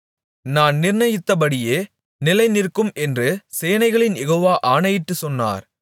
நான் நினைத்திருக்கிறபடியே நடக்கும் நான் நிர்ணயித்தபடியே நிலைநிற்கும் என்று சேனைகளின் யெகோவா ஆணையிட்டுச் சொன்னார்